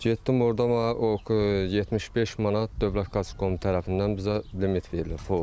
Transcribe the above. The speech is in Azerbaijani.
Getdim orda mən o 75 manat Dövlət Qaçqın Komitəsi tərəfindən bizə limit verilib.